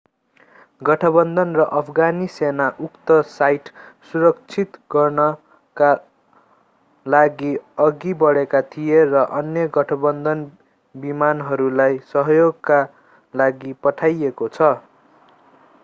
गठबन्धन र अफगानी सेना उक्त साइट सुरक्षित गर्नका लागि अघि बढेका थिए र अन्य गठबन्धन विमानहरूलाई सहयोगका लागि पठाइएको छ